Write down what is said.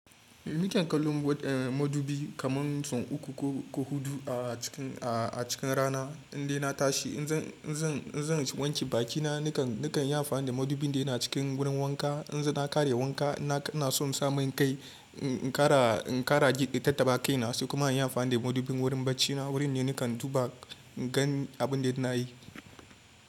Ni kan kallon madubi kaman sun uku ko, ko hudu a cikin, a cikin rana in dai na tashi. In zan, in zan, in zan wanke bakina nakan, nakan yi amfani da madubin da yana cikin wurin wanka. In na ƙare wanka ina, ina so in sami kai, in ƙara, in ƙara jigɗi tattaɓa kaina sosai kuma in yi amfani da madubin wurin bacina wurin da nakan duba gan abin da ina yi.